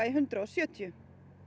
í hundrað og sjötíu